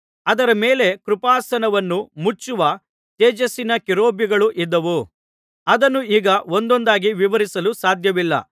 ಅದರ ಮೇಲೆ ಕೃಪಾಸನವನ್ನು ಮುಚ್ಚುವ ತೇಜಸ್ಸಿನ ಕೆರೂಬಿಗಳೂ ಇದ್ದವು ಅದನ್ನು ಈಗ ಒಂದೊಂದಾಗಿ ವಿವರಿಸಲು ಸಾಧ್ಯವಿಲ್ಲ